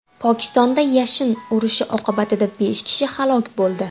Pokistonda yashin urishi oqibatida besh kishi halok bo‘ldi.